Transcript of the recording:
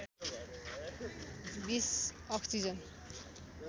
२० oxygen